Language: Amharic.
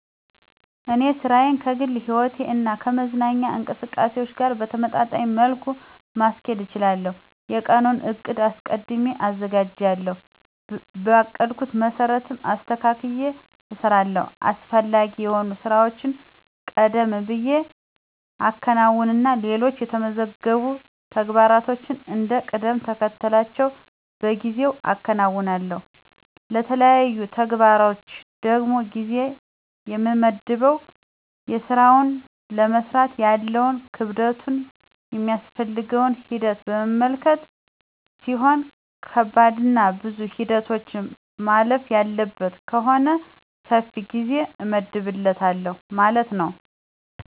እኔ ሥራዬን ከግል ሕይወቴ እና ከመዝናኛ እንቅስቃሴዎች ጋር በተመጣጣኝ መልኩ ማስኬድ እችላለሁ። የቀኑን ዕቅድ አስቀድሜ አዘጋጃለሁ, በአቀድኩት መሰረትም አስተካክየ እሰራለሁ። አስፈላጊ የሆኑ ሥራዎችን ቀደም ብየ አከናውንና ሌሎች የተመዘገቡ ተግባሮችን እንደ ቅደምተከተላቸው በጊዜ አከናውናለሁ። ለተለያዩ ተግባሮች ደግሞ ጊዜ የምመድበው የስራውን ለመስራት ያለውን ክብደቱን ,የሚያስፈልገውን ሂደት በመመልከት ሲሆን ከባድና ብዙ ሂደቶችን ማለፍ ያለበት ከሆነ ሰፊ ጊዜ እመድብለታለሁ ማለት ነው።